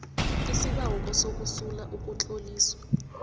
isibawo sokusula ukutloliswa